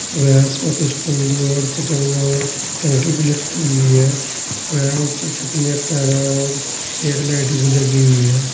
और यहां इसमें कुछ कुंडी और चटकना और टंकी भी लटकी हुई है और यहां ऊपर छत में कैमरा और एक लाइट भी लगी हुई है।